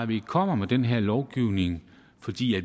vi kommer med den her lovgivning fordi